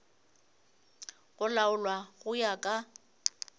go laolwa go ya ka